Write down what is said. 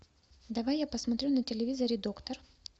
давай я посмотрю на телевизоре доктор